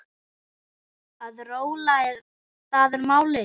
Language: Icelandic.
Að róla, það er málið.